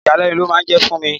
Ìyàlẹ́nu ló máa ń jẹ́ fún mi.